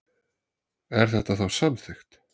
Er þetta þá samþykkt?